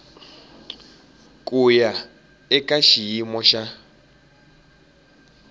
ku ya eka xiyimo xa